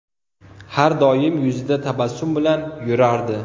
Har doim yuzida tabassum bilan yurardi”.